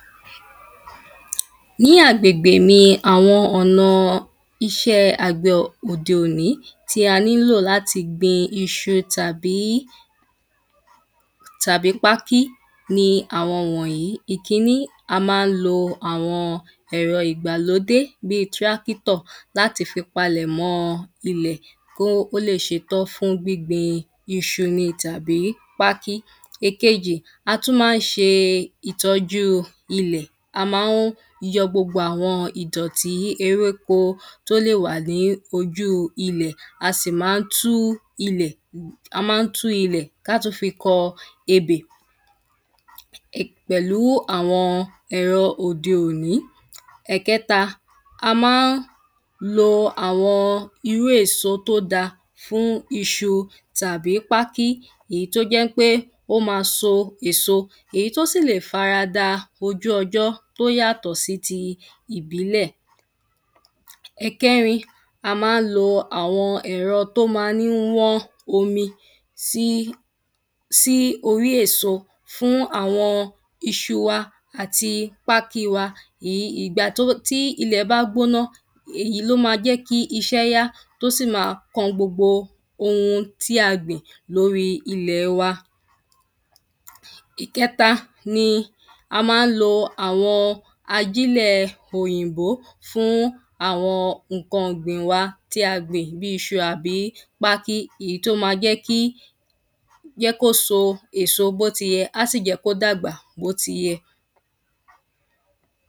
ní agbègbè mi àwọn ọ̀nà iṣẹ́ àgbẹ̀ òde òní tí a ní lò láti gbin iṣu tàbí tàbí pákí ni àwọn wọ̀nyí ìkiní a má ń lo àwọn ẹ̀rọ ìgbàlódé bí trákítọ̀ láti fi palẹ̀mọ́o ilẹ̀ kó ó le ṣe tán fún gbíngbin iṣu ni tàbí pákí èkejì a tún má ń ṣe ìtọ́jú ilẹ̀ a ma ń yọ gbogbo àwọn ìdọ̀tí ewéko tó lè wà ní ojú ilẹ̀ a sì má ń tú ilẹ̀ a má ń tú ilẹ̀ ká tú fi kọ ebè pẹ̀lú àwọn ẹ̀rọ òde òní ẹ̀kẹ́ta a má ń lo àwọn irú èso tó da fún iṣu tàbí pákí ìyí tó jẹ́ pé ó ma so èso èyí tó sì le ̀ farada bojú ọjọ́ tó yàtọ̀ sí ti ìbílẹ̀ ẹ̀kẹrín a má ń lo àwọn ẹ̀rọ tó ma ń wọ́n omi sí sí orí èso fún àwọn iṣu wa àti pákí wa ìgbà tí ilẹ̀ bá gbóná èyí ló ma jẹ́ kí iṣẹ́ yá tó sì ma kan gbogbo ohun tí a gbìn lórí ilẹ̀ wa ìkẹta ni a má ń lo àwọn ajílẹ̀ òyìnbó fún àwọn ǹkan gbìn wa tí a gbìn bí iṣu àbí pákí èyí tó ma jẹ́ kí jẹ́ kóso èso bó ti yẹ á sì jẹ́ kó dàgbà bó ti yẹ